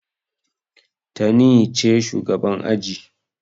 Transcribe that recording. Tani ce shugaban aji.